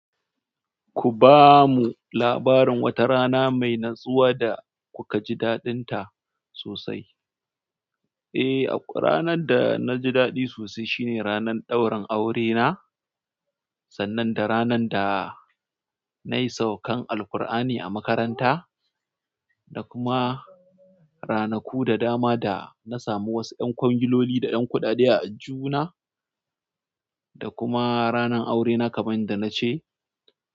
Ku ba mu labarin wata rana mai natsuwa da kuka ji daɗinta sosai. Eh, ranar da na ji daɗi sosai shine ranar ɗaurin aurena, sannan da ranar da na yi saukan Alqur'ani a makaranta, da kuma ranaku da dama da na samu wasu ƴan kwangiloli da ƴan kuɗaɗe a aljihuna, da kuma ranar aurena kaman da nace.